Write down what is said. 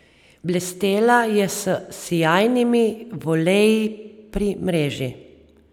Blestela je s sijajnimi voleji pri mreži.